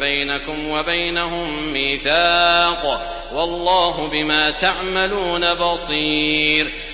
بَيْنَكُمْ وَبَيْنَهُم مِّيثَاقٌ ۗ وَاللَّهُ بِمَا تَعْمَلُونَ بَصِيرٌ